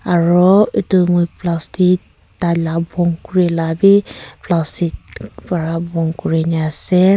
aru etu moi plastic tai lah bond kuri lah be plastic para bond kuri ne ase.